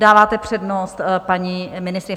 Dáváte přednost paní ministryni.